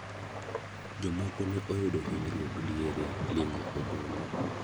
Jomoko ne oyudo hinyruok diere lingo ombulu.